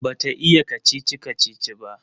Bata iya kacici-kacici ba